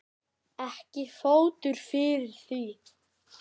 Ekki er fótur fyrir því.